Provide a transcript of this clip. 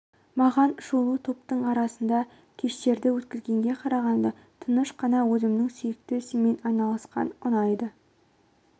маған шулы топтың арасында кештерді өткізгенге қарағанда тыныш қана өзімнің сүйікті ісіммен айналысқан ұнайды